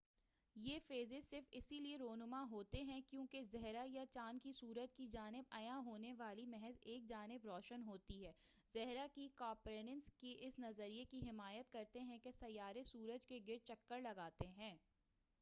یہ فیزز صرف اس لیے رونما ہوتے ہیں کیونکہ زھرہ یا چاند کی سورج کی جانب عیاں ہونے والی محض ایک جانب روشن ہوتی ہے۔ زھرہ کے کاپرنیکس کے اس نظریے کی حمایت کرتے ہیں کہ سیارے سورج کے گرد چکر لگاتے ہیں۔